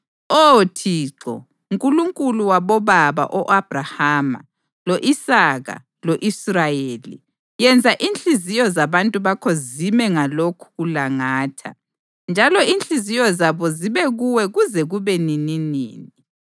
Oh Thixo, Nkulunkulu wabobaba o-Abhrahama, lo-Isaka lo-Israyeli, yenza inhliziyo zabantu bakho zime ngalokhu kulangatha, njalo inhliziyo zabo zibe kuwe kuze kube nininini.